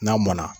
N'a mɔnna